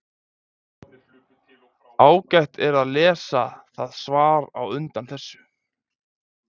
ágætt er að lesa það svar á undan þessu